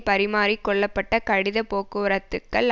பரிமாறி கொள்ளப்பட்ட கடிதப் போக்குவரத்துக்கள்